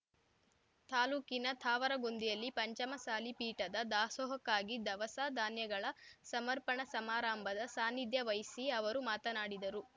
ತಾಲೂಕಿನ ತಾವರಗೊಂದಿಯಲ್ಲಿ ಪಂಚಮಸಾಲಿ ಪೀಠದ ದಾಸೋಹಕ್ಕಾಗಿ ದವಸ ಧಾನ್ಯಗಳ ಸಮರ್ಪಣಾ ಸಮಾರಾಂಭದ ಸಾನಿಧ್ಯ ವಹಿಸಿ ಅವರು ಮಾತನಾಡಿದರು